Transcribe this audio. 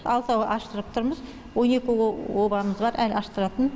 алтауын аштырып тұрмыз он екі обамыз бар әлі аштыратын